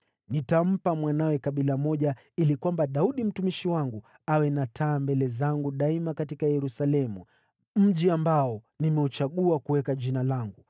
Nitampa mwanawe kabila moja ili kwamba Daudi mtumishi wangu awe na taa mbele zangu daima katika Yerusalemu, mji ambao nimeuchagua kuweka Jina langu.